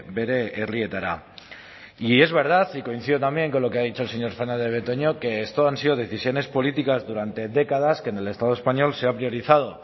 bere herrietara y es verdad y coincido también con lo que ha dicho el señor fernandez de betoño que esto han sido decisiones políticas durante décadas que en el estado español se han priorizado